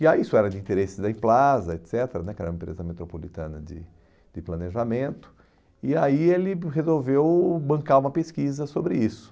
E aí isso era de interesse da Implaza, et cetera né, que era uma empresa metropolitana de de planejamento, e aí ele resolveu bancar uma pesquisa sobre isso.